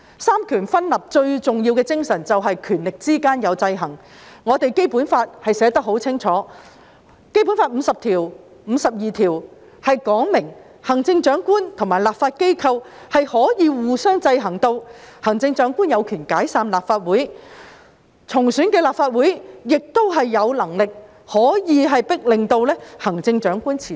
三權分立最重要的精神就是權力之間有制衡，《基本法》寫得很清楚，《基本法》第五十條、第五十二條指明行政長官及立法機關可以互相制衡，行政長官有權解散立法會，而重選的立法會亦可以迫令行政長官辭職。